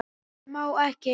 Það má ekki.